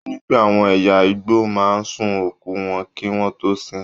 Ó ní pé àwọn ẹ̀yà Igbo máa ń sun òkú wọn kí wọ́n tó sin ín.